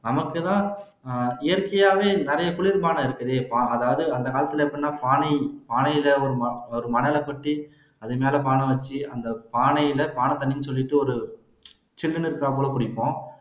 நமக்குதான் இயற்கையாவே நிறைய குளிர் பானம் இருக்குதே அதாவது அந்த காலத்துல எப்படின்னா மணலை கொட்டி அதுமேல பானை வச்சு அந்த பானைல பானை தண்ணின்னு சொல்லிட்டு ஒரு சில்லுன்னு இருக்குறாப்புல குடிப்போம்